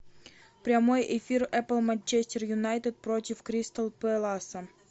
прямой эфир апл манчестер юнайтед против кристал пэласа